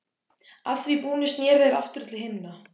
Að því búnu sneru þeir aftur til hinna.